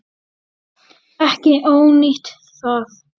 Ekki ónýtt það.